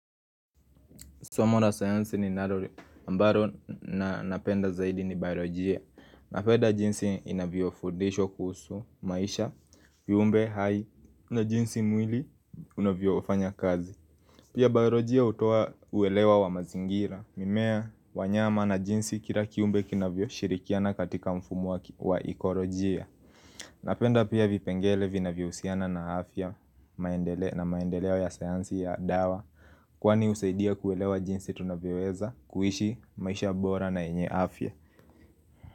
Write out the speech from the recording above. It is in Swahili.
Somo ra sayansi ninarori ambaro na napenda zaidi ni biolojia Napenda jinsi inavyofundishwa kuhusu maisha, viumbe hai, na jinsi mwili unavyofanya kazi Pia biolojia hutoa uwelewa wa mazingira, mimea, wanyama na jinsi kila kiumbe kinavyoshirikiana katika mfumo wa ikorojia Napenda pia vipengele vinavyohusiana na afya maendele na maendeleo ya sayansi ya dawa Kwani husaidia kuelewa jinsi tunavyoweza kuishi maisha bora na yenye afya.